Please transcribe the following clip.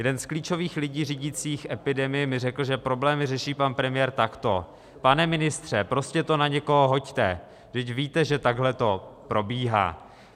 Jeden z klíčových lidí řídících epidemii mi řekl, že problémy řeší pan premiér takto: Pane ministře, prostě to na někoho hoďte, vždyť víte, že takhle to probíhá.